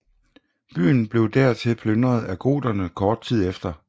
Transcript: Byen blev dertil plyndret af goterne kort tid efter